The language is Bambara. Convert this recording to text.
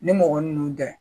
Ni mɔgɔ ninnu tɛ